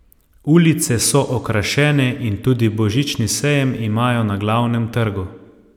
Ulice so okrašene in tudi božični sejem imajo na glavnem trgu.